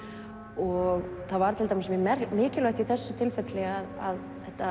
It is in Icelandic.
og það var mjög mikilvægt í þessu tilfelli að